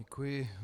Děkuji.